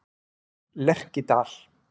Lerkidal